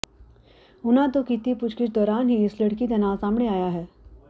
ਉਨ੍ਹਾਂ ਤੋਂ ਕੀਤੀ ਪੁੱਛਗਿੱਛ ਦੌਰਾਨ ਹੀ ਇਸ ਲੜਕੀ ਦਾ ਨਾਂ ਸਾਹਮਣੇ ਆਇਆ ਹੈ